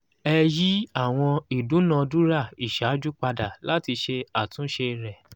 ẹ yí àwọn ìdúnàádúrà ìṣáájú padà láti ṣe àtúnṣe rẹ̀